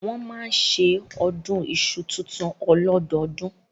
Wọ́n máa ń ṣe ọdún iṣu tuntun ọlọ́dọọdún